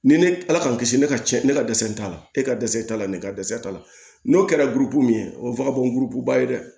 Ni ne ala k'an kisi ne ka cɛn ne ka dɛsɛ t'a la e ka dɛsɛ t'a la ne ka dɛsɛ t'a la n'o kɛra gurupu min ye o ye fakadon ba ye dɛ